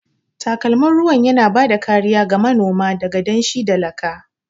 Takalmin ruwan yana ba da kariya ga manoma daga danshi da laka.